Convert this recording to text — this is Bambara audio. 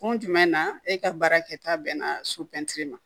Kun jumɛn na e ka baara kɛta bɛnna so ma